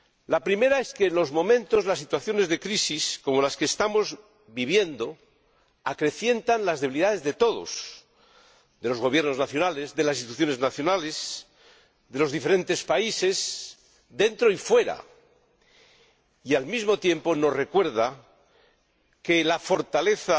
La primera es que en los momentos, en las situaciones de crisis como las que estamos viviendo, se acrecientan las debilidades de todos, de los gobiernos nacionales, de las instituciones nacionales, de los diferentes países, dentro y fuera, y, al mismo tiempo, este hecho nos recuerda que la fortaleza